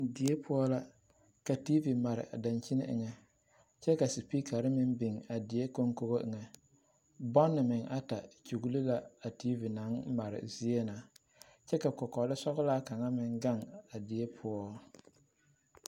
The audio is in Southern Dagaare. Die poɔ la ka tiivi mare a daŋkyini eŋɛ kyɛ ka sepiikkare meŋ biŋ a die kɔŋkɔbɔ eŋɛ bɔnne meŋ ata kyugli la a tiivi naŋ mare zie na kyɛ ka kɔkɔle sɔglaa kaŋ meŋ gaŋ a die poɔ.